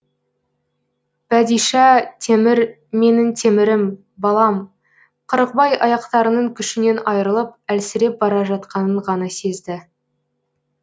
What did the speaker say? бәдишә темір менің темірім балам қырықбай аяқтарының күшінен айырылып әлсіреп бара жатқанын ғана сезді